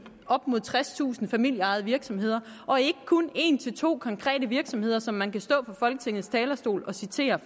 op mod tredstusind familieejede virksomheder og ikke kun om en til to konkrete virksomheder som man kan stå på folketingets talerstol og citere